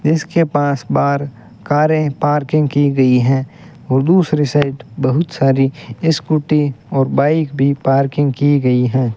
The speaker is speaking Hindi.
जिसके पास बाहर कारे पार्किंग की गयी है और दूसरे साइड बहोत सारी स्कूटी और बाइक भी पार्किंग की गयी है।